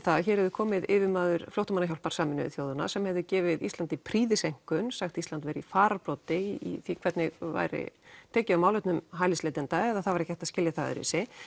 að hér hafi komið yfirmaður flóttamannahjálpar Sameinuðu þjóðanna sem hefði gefið Íslandi prýðiseinkunn sagt Ísland vera í fararbroddi í hvernig væri tekið á málefnum hælisleitenda eða það var ekki hægt að skilja það öðruvísi